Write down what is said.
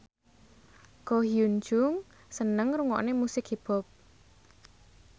Ko Hyun Jung seneng ngrungokne musik hip hop